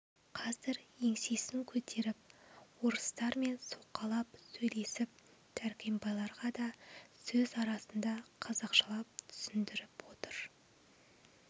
қазір еңсесін көтеріп орыстармен соқалап сөйлесіп дәркембайларға да сөз арасында қазақшалап түсіндіріп отыр